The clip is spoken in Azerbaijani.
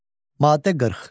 Maddə 40.